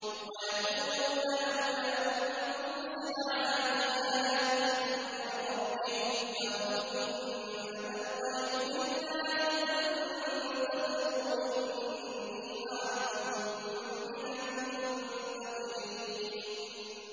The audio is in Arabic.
وَيَقُولُونَ لَوْلَا أُنزِلَ عَلَيْهِ آيَةٌ مِّن رَّبِّهِ ۖ فَقُلْ إِنَّمَا الْغَيْبُ لِلَّهِ فَانتَظِرُوا إِنِّي مَعَكُم مِّنَ الْمُنتَظِرِينَ